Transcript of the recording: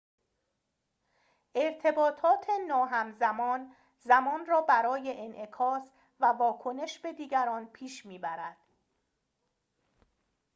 ارتباطات ناهمزمان زمان را برای انعکاس و واکنش به دیگران پیش می‌برد